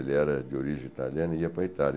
Ele era de origem italiana e ia para a Itália.